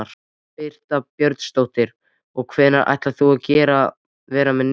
Birta Björnsdóttir: Og hvenær ætlar þú að vera með nefið?